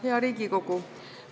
Hea Riigikogu!